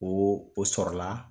Ko o sɔrɔla